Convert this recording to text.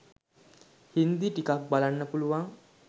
හින්දි ටිකක් බලන්න පුළුවන්